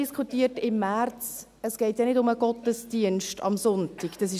Wir haben im März auch darüber diskutiert, dass es nicht um den Gottesdienst am Sonntag geht.